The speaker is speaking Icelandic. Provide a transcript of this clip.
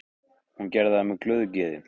Hún gerði það með glöðu geði.